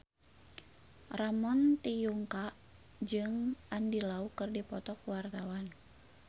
Ramon T. Yungka jeung Andy Lau keur dipoto ku wartawan